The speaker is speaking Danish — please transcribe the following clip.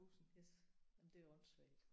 Yes jamen det er jo åndsvagt